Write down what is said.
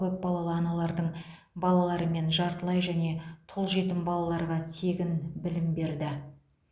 көпбалалы аналардың балалары мен жартылай және тұл жетім балаларға тегін білім берді